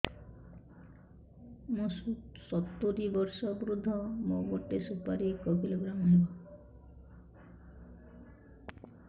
ମୁଁ ସତୂରୀ ବର୍ଷ ବୃଦ୍ଧ ମୋ ଗୋଟେ ସୁପାରି ଏକ କିଲୋଗ୍ରାମ ହେବ